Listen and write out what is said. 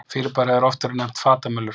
Fyrirbærið hefur oft verið nefnt fatamölur.